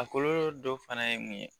A kɔlɔlɔ dɔ fana ye mun ye.